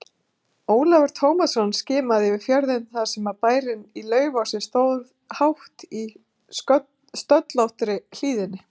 Ólafur Tómasson skimaði yfir fjörðinn þar sem bærinn í Laufási stóð hátt í stöllóttri hlíðinni.